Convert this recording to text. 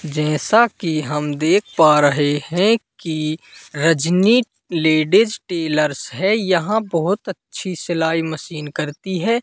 जैसा कि हम देख पा रहे हैं कि रजनी लेडिज टेलर्स है यहां बहोत अच्छी सिलाई मशीन करती है।